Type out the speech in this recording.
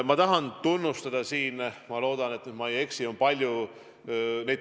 Ma tahan siin ka tunnustada.